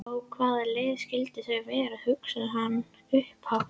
Á hvaða leið skyldu þau vera? hugsaði hann upphátt.